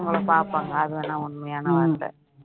அவங்கள பாப்பாங்க அது வேணா உண்மையான வார்த்தை